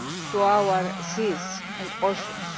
to our seas and oceans.